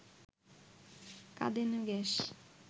কাঁদানে gas